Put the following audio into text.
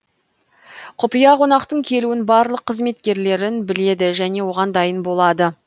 құпия қонақтың келуін барлық қызметкерлерін біледі және оған дайын болады